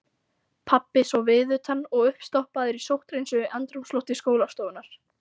Pabbi svo viðutan og uppstoppaður í sótthreinsuðu andrúmslofti skólastofunnar.